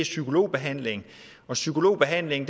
psykologbehandling og psykologbehandling